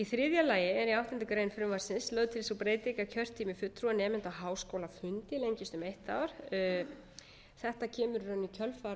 þriðja lagi er í áttundu greinar frumvarpsins lögð til sú breyting að kjörtími fulltrúa nemenda á háskólaþingi lengist um eitt ár þetta kemur í rauninni í kjölfar